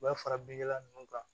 U b'a fara binkɛla ninnu kan